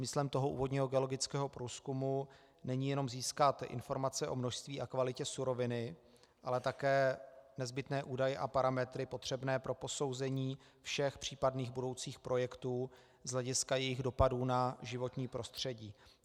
Smyslem toho úvodního geologického průzkumu není jenom získat informace o množství a kvalitě suroviny, ale také nezbytné údaje a parametry potřebné pro posouzení všech případných budoucích projektů z hlediska jejich dopadů na životní prostředí.